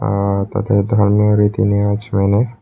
আঃ তাতে ধর্মের রীতি নেওয়াজ মেনে--